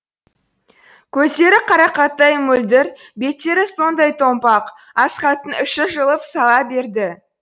көздері қарақаттай мөлдір беттері сондай томпақ асхаттың іші жылып сала берді